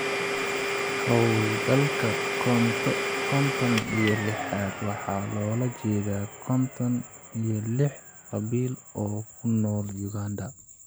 Hawlgalka konton iyo lixad waxa loola jeedaa konton iyo lix qabiil oo ku nool Uganda.